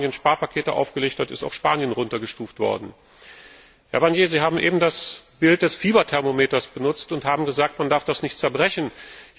Nachdem Spanien Sparpakete aufgelegt hat, ist auch Spanien heruntergestuft worden. Herr Barnier, Sie haben eben das Bild des Fieberthermometers benutzt und haben gesagt, dass man das nicht zerbrechen darf.